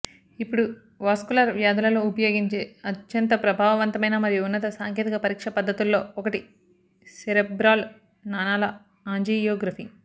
ఇప్పుడు వాస్కులర్ వ్యాధులలో ఉపయోగించే అత్యంత ప్రభావవంతమైన మరియు ఉన్నత సాంకేతిక పరీక్ష పద్ధతుల్లో ఒకటి సెరెబ్రల్ నాళాల ఆంజియోగ్రఫీ